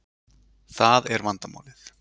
Það er vandamálið